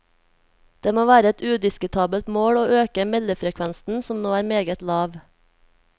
Det må være et udiskutabelt mål å øke meldefrekvensen, som nå er meget lav.